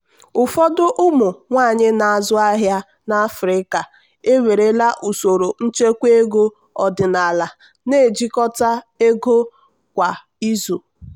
ụfọdụ ụmụ nwanyị na-azụ ahịa n'afrika ewerela usoro nchekwa ego ọdịnala na-ejikọta ego kwa izu.